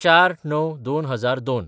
०४/०९/२००२